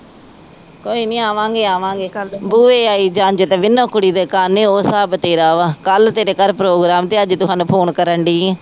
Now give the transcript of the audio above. ਕੋਈ ਨਹੀਂ ਆਵਾਂਗੇ ਆਵਾਂਗੇ ਕਲ ਬੂਹੇ ਆਈ ਝੰਜ ਤੇ ਵਿਨੋ ਕੁੜੀ ਦੇ ਕੰਨ ਉਹ ਸਾਬ ਤੇਰਾ ਵਾ ਕਲ ਤੇਰੇ ਘਰ program ਤੇ ਅੱਜ ਤੂ ਹਾਨੂੰ ਫੋਨ ਕਰਨ ਦੀ ਆ।